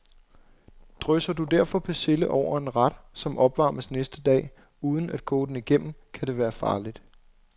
Drysser du derfor persille over en ret, som opvarmes næste dag, uden at koge den igennem, kan det være farligt.